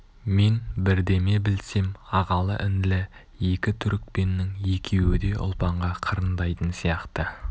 мен бірдеме білсем ағалы-інілі екі түрікпеннің екеуі де ұлпанға қырындайтын сияқты